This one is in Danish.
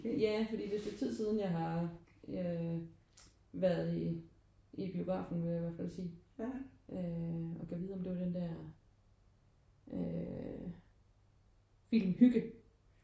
Ja fordi det er et stykke tid siden jeg har øh været i i biografen vil jeg i hvert fald sige. Øh og gad vide om det var den der øh film Hygge